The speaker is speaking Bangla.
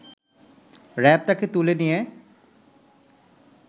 র‍্যাব তাকে তুলে নিয়ে